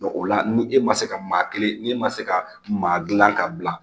o la ni e ma se ka maa kelen n'e ma se ka maa dilan ka bila